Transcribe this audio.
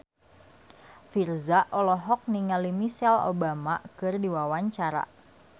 Virzha olohok ningali Michelle Obama keur diwawancara